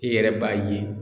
I yɛrɛ b'a ye